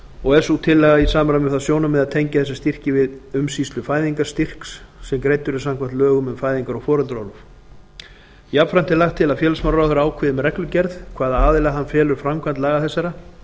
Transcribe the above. og er sú tillaga í samræmi við það sjónarmið að tengja eða styrki við umsýslu fæðingarstyrks sem greiddur er samkvæmt lögum um fæðingar og foreldraorlof jafnframt er lagt til að félagsmálaráðherra ákveði með reglugerð hvaða aðila hann felur framkvæmd laga þessara